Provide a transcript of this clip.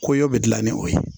Koɲɛw bi gilan ni o ye